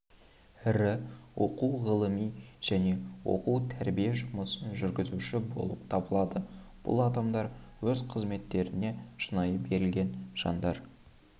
ірі оқу-ғылыми және оқу-тәрбие жұмысын жүргізуші болып табылады бұл адамдар өз қызметтеріне шынайы берілген жандар